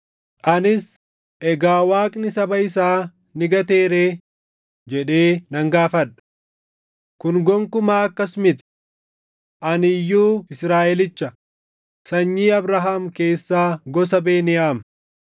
Anis, “Egaa Waaqni saba isaa ni gatee ree?” jedhee nan gaafadha. Kun gonkumaa akkas miti! Ani iyyuu Israaʼelicha, sanyii Abrahaam keessaa gosa Beniyaam.